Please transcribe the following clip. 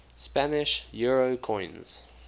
spanish euro coins